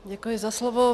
Děkuji za slovo.